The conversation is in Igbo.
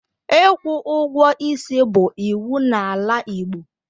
Ịkwụ ụgwọ isi bụ iwu n'ala Igbo.